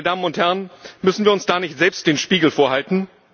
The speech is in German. Meine Damen und Herren, müssen wir uns da nicht selbst den Spiegel vorhalten?